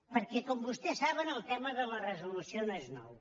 perquè com vostès saben el tema de la resolució no és nou